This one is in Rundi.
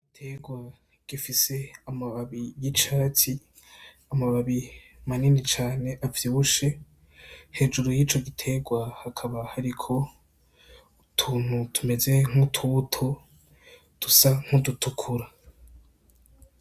Igitegwa gifise amababi y' icatsi amababi manini cane avyibushe hejuru y' ico gitegwa hakaba hariko utuntu tumeze nk'utubuto dusa nk'udutukura.